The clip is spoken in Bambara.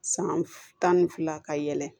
San tan ni fila ka yɛlɛ